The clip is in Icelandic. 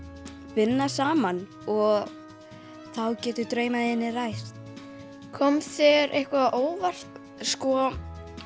vinna saman og þá geta draumar þínir ræst kom þér eitthvað á óvart sko